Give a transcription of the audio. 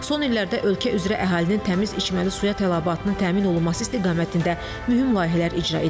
Son illərdə ölkə üzrə əhalinin təmiz içməli suya tələbatının təmin olunması istiqamətində mühüm layihələr icra edilib.